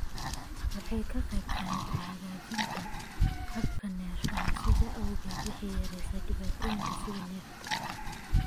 Waxay ka qaybqaadataa hagaajinta habka neefsashada, sidaas awgeed waxay yareysaa dhibaatooyinka sida neefta.